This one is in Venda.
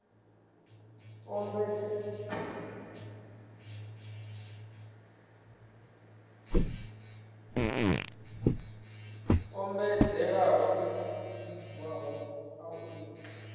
ombedzela u vhigiwa ha u